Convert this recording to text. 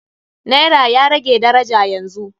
Naira ya rage daraja yanzu.